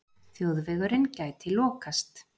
Þjóðvegurinn gæti lokast